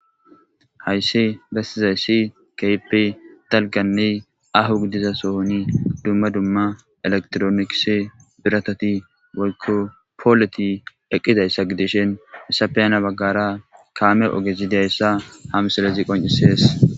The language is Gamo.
Haysi besizaysi keehippe dalganne aaho gidida sohoni dumma dumma electroncse biratati woyko polleti eqidaysa gidishn hesappe hani bagara kaame ogezi diyaysa ha misilezi qoncisesi.